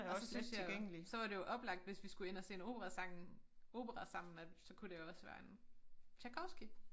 Og så synes jeg jo så var det jo oplagt hvis vi skulle ind og se en opera sang opera sammen at så kunne det også være en Tjajkovskij